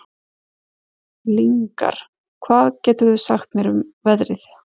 Lyngar, hvað geturðu sagt mér um veðrið?